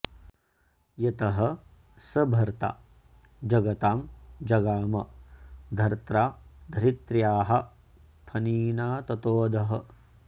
यतः स भर्ता जगतां जगाम धर्त्रा धरित्र्याः फणिनाततोऽधः